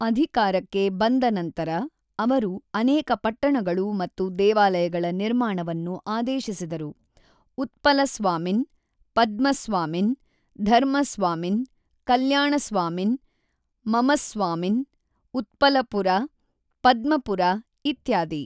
ಅಧಿಕಾರಕ್ಕೆ ಬಂದ ನಂತರ, ಅವರು ಅನೇಕ ಪಟ್ಟಣಗಳು ಮತ್ತು ದೇವಾಲಯಗಳ ನಿರ್ಮಾಣವನ್ನು ಆದೇಶಿಸಿದರು - ಉತ್ಪಲಸ್ವಾಮಿನ್, ಪದ್ಮಸ್ವಾಮಿನ್, ಧರ್ಮಸ್ವಾಮಿನ್, ಕಲ್ಯಾಣಸ್ವಾಮಿನ್, ಮಮಸ್ವಾಮಿನ್, ಉತ್ಪಲಪುರ, ಪದ್ಮಪುರ ಇತ್ಯಾದಿ.